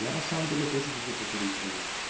я на самом деле тоже люблю покурить траву